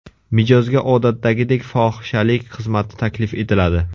Mijozga odatdagidek fohishalik xizmati taklif etiladi.